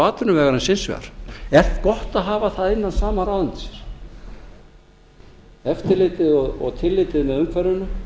atvinnuvegarins hins vegar er gott að hafa það innan sama ráðuneytis eftirlitið og tillitið með umhverfinu